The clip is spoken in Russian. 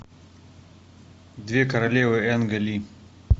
две королевы энга ли